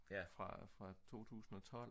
ja fra 2012